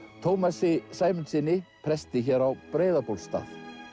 Tómasi Sæmundssyni presti hér á Breiðabólstað